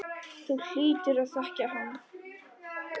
Þú hlýtur að þekkja hann.